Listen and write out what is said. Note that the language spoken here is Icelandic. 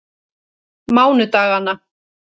mánudaganna